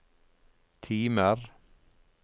timer